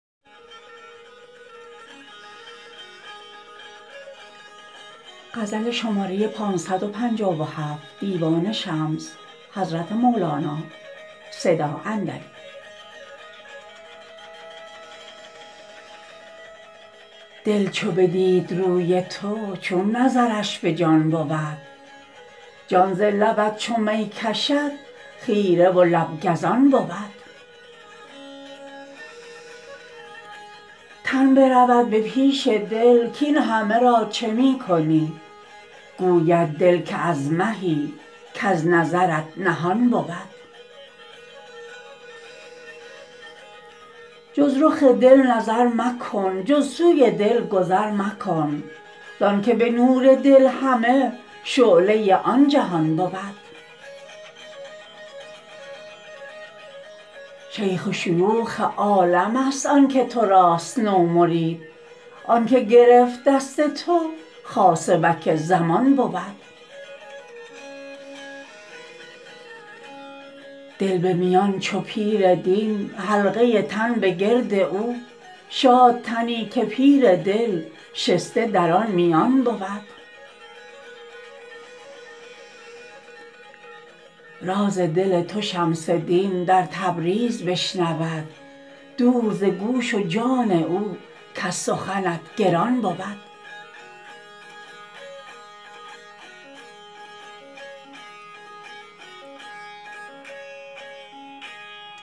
دل چو بدید روی تو چون نظرش به جان بود جان ز لبت چو می کشد خیره و لب گزان بود تن برود به پیش دل کاین همه را چه می کنی گوید دل که از مهی کز نظرت نهان بود جز رخ دل نظر مکن جز سوی دل گذر مکن زانک به نور دل همه شعله آن جهان بود شیخ شیوخ عالمست آن که تو راست نومرید آن که گرفت دست تو خاصبک زمان بود دل به میان چو پیر دین حلقه تن به گرد او شاد تنی که پیر دل شسته در آن میان بود راز دل تو شمس دین در تبریز بشنود دور ز گوش و جان او کز سخنت گران بود